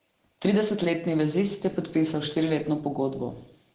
Tridesetletni vezist je podpisal štiriletno pogodbo.